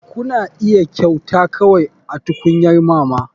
Kuna iya kyauta kawai a tukunyar mama.